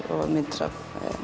og myndir af